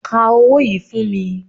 Ka owó yìí fún mi